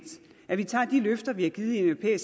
at vi tager de løfter vi har givet i